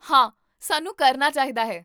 ਹਾਂ, ਸਾਨੂੰ ਕਰਨਾ ਚਾਹੀਦਾ ਹੈ